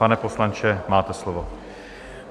Pane poslanče, máte slovo.